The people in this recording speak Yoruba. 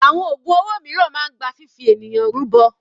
Àwọn ògùn owó mìíràn gba fifi ènìyàn rúbọ.